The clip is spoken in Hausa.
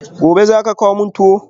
Gobe ​​zaka kawo min tuwo?